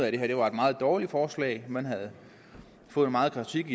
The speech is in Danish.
at det her var et meget dårligt forslag man havde fået meget kritik